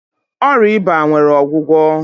Ọrịa eba nwere ọgwụgwọ.